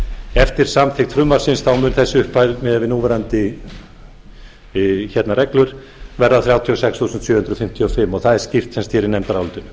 eftir samþykkt frumvarpsins mun þessi upphæð miðað við núverandi reglur verða þrjátíu og sex þúsund sjö hundruð fimmtíu og fimm og það er skýrt í nefndarálitinu